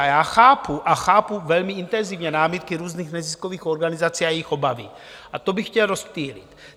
A já chápu, a chápu velmi intenzivně, námitky různých neziskových organizací a jejich obavy, a to bych chtěl rozptýlit.